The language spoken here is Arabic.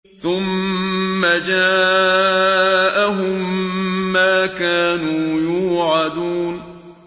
ثُمَّ جَاءَهُم مَّا كَانُوا يُوعَدُونَ